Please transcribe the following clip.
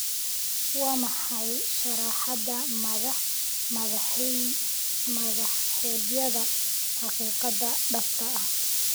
waa maxay sharraxaadda madax-madaxeedyada xaqiiqada dhabta ah